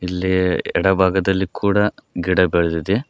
ಇಲ್ಲಿ ಎಡ ಭಾಗದಲ್ಲಿ ಕೂಡ ಗಿಡಗಳಿದೆ.